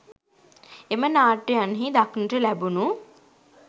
එම නාට්‍යයන්හි දක්නට ලැබුණු